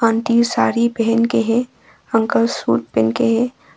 Aunty sari पहन के है अंकल सूट पहन के है।